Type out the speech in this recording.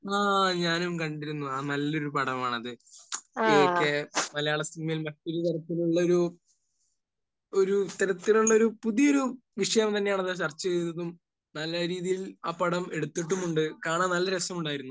ആഹ്. ഞാനും കണ്ടിരുന്നു. ആ നല്ലൊരു പടമാണത്. കേ...മലയാളസിനിമയിൽ പുതിയ തരത്തിലുള്ളൊരു...ഒരു ഇത്തരത്തിലുള്ളൊരു പുതിയൊരു വിഷയം തന്നെയാണ് അത് ചർച്ച ചെയ്തതും. നല്ല രീതിയിൽ ആ പടം എടുത്തിട്ടുമുണ്ട്. കാണാൻ നല്ല രസമുണ്ടായിരുന്നു.